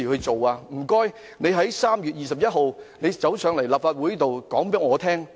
麻煩你們在3月21日前來立法會告知議員。